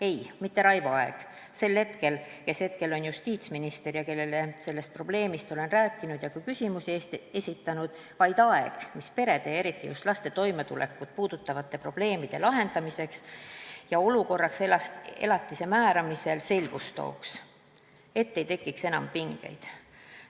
Ei, mitte Raivo Aeg, kes hetkel on justiitsminister ja kellele sellest probleemist olen rääkinud ja selle kohta küsimusi esitanud, vaid aeg, mis perede ja eriti just laste toimetulekut puudutavate probleemide lahendamisel ja elatise määramisel olukorras selgust tooks, et ei tekiks enam pingeid.